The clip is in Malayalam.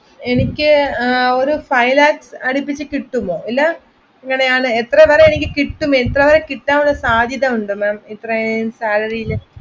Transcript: എനിക്ക് ഒരു five lakh അടിപ്പിച്ച് കിട്ടുവല്ലോ എത്ര വരെ കിട്ടും എത്രെ വരെ കിട്ടാനുള്ള സാധ്യതയുണ്ട് maa m ഇത്രെയും salary ൽ